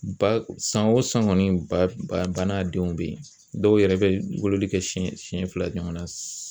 Ba san o san kɔni ba ba n'a denw bɛ yen dɔw yɛrɛ bɛ wololi kɛ siɲɛ siɲɛ fila ɲɔgɔn na